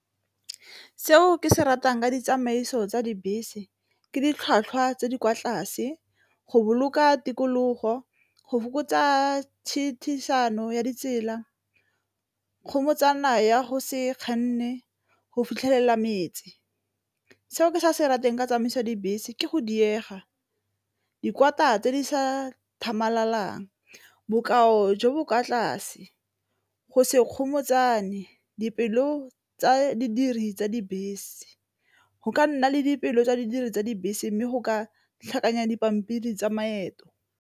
Seo ke se ratang ka ditsamaiso tsa dibese ke ditlhwatlhwa tse di kwa tlase, go boloka tikologo, go fokotsa ya ditsela, ya go se kganne, go fitlhelela metsi. Seo ke se ratang ka tsamaisa dibese ke go diega, tse di sa tlhamalalang, bokao jo bo kwa tlase, go se gomotsane dipelo tsa didiri tsa dibese, go ka nna le dipeelo tsa di diri tsa dibese mme go ka tlhakanya dipampiri tsa maeto.